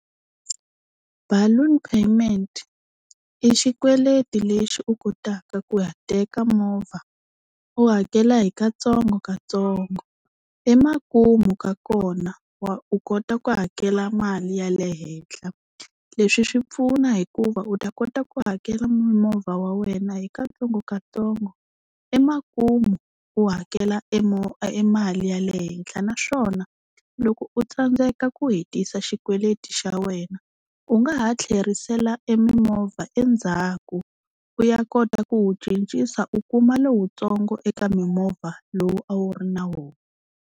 Balloon payment i xikweleti lexi u kotaka ku ya teka movha u hakela hi katsongokatsongo, emakumu ka kona wa u kota ku hakela mali ya le henhla. Leswi swi pfuna hikuva u ta kota ku hakela movha wa wena hi katsongokatsongo, emakumu u hakela emali ya le henhla. Naswona loko u tsandzeka ku hetisa xikweleti xa wena u nga ha tlherisela emimovha endzhaku u ya kota ku wu cincisa u kuma lowutsongo eka mimovha lowu a wu ri na wona.